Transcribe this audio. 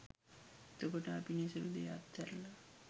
එතකොට අපි නිසරු දෙය අත්හැරලා